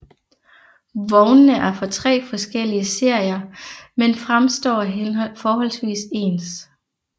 Vognene er fra tre forskellige serier men fremstår forholdsvis ens